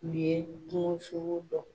U ye kungo sogo dɔn.